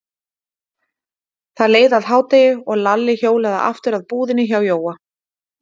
Það leið að hádegi og Lalli hjólaði aftur að búðinni hjá Jóa.